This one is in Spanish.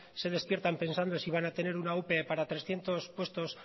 se despiertan pensando si van a tener una ope para trescientos puestos